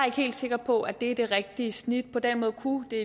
ikke helt sikker på at det er det rigtige snit på den måde kunne det